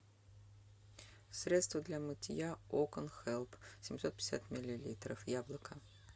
средства для мытья окон хелп семьсот пятьдесят миллилитров яблоко